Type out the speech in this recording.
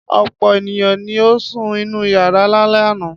Ọ̀pọ̀ ènìyàn ni ó sun inú ìyàrá lálẹ́ àná.